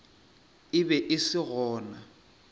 e be e se gona